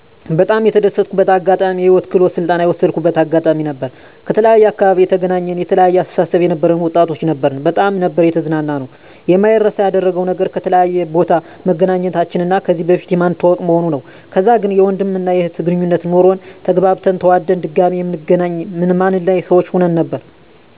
በጣም የተደሰትኩበት አጋጣሚ የህይወት ክህሎት ስልጠና የወሰድኩበት አጋጣሚ ነበር። ከተለያየ አካባቢ የተገናኘን የተለያየ አስተሳሰብ የነበረን ወጣቶች ነበርን በጣም ነበር የተዝናናነው። የማይረሳ ያደረገው ነገር ከተለያየ ቦታ መገናኘታችን እና ከዚህ በፊት ማንተዋወቅ መሆኑ ነው። ከዛ ግን የወንድም እና የእህት ግነኙነት ኖሮን ተግባብተን ተዋደን ድጋሚ ምንገናኝ ማንለያይ ሰዎች ሁን ነበር